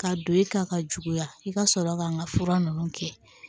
Ka don i ka ka juguya i ka sɔrɔ ka n ka fura ninnu kɛ